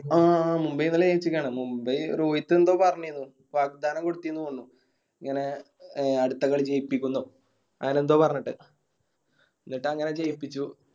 ആ ആ മുംബൈ ഇന്നലെ ജയിചിക്കാണ് മുംബൈ രോഹിത് എന്തോ പറഞ്ഞിന്നു വാക്ക്ദാന ബുദ്ധിന്നു തോന്നു ഇങ്ങനെ അടുത്ത കളി ജയിപ്പിക്കുന്നോ അങ്ങനെ എന്തോ പറഞ്ഞിട്ട്